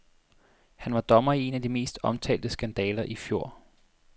Han var dommer i en af de mest omtalte skandaler i fjor.